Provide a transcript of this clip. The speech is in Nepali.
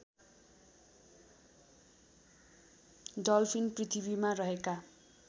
डल्फिन पृथ्वीमा रहेका